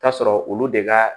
K'a sɔrɔ olu de ka